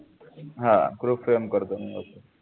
हा group send करतो मी okay